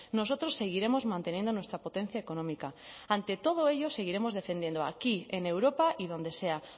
nosotros seguiremos manteniendo nuestra potencia económica ante todo ello seguiremos defendiendo aquí en europa y donde sea